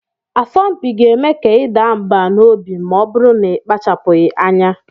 Asọmpi ga-eme ka ị daa mbà n'obi ma ọ bụrụ na ị kpachapụghị anya